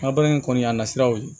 N ka baara in kɔni a nasiraw ye